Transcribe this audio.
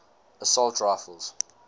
assault rifles